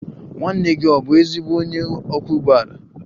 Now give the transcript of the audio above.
Nwanne gị ọ̀ bụ ezigbo onye ọkwọ ụgbọala?